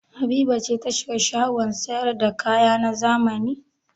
Habiba ce ta shiga shagon sayar da kaya na zamani?